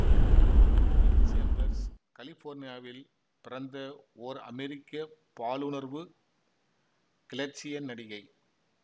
கிம் Chambers கலிபோர்னியாவில் பிறந்த ஓர் அமெரிக்க பாலுணர்வு கிளர்ச்சிய நடிகை